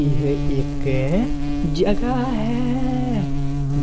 ਏਹ ਇਕ ਜਗਾ ਹੈ